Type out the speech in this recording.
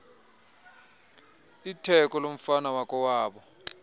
itheko lomfana wakowabo